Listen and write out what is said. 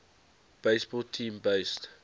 baseball team based